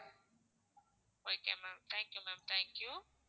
Ah okay ma'am thank you ma'am thank you.